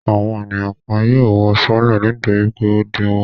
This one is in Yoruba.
Àwọn ènìyàn kan yóò wọ sọọ́lẹ̀ nítorí pé ó dínwó.